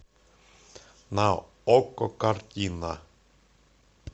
на окко картина